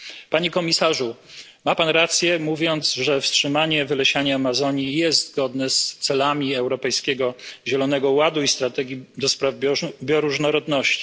Panie Komisarzu, ma Pan rację, mówiąc że wstrzymanie wylesiania Amazonii jest zgodne z celami Europejskiego Zielonego Ładu i strategii na rzecz bioróżnorodności.